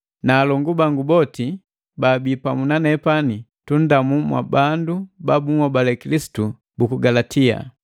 na alongu bangu boti baabii pamu na nepani tundamu mwabandu ba bunhobale Kilisitu buku Galatia.